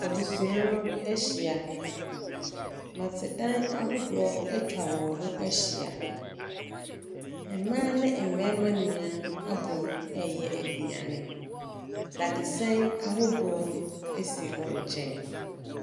Abusua no ahyia, nnɔte dan ahodoɔ atwa wɔn ho ahyia, ɛmaa ne ɛmɛɛma nyinaa abɔ mu ɛɛyɛ aduane. Dadesɛn ahodoɔ esi wɔn nkyɛn.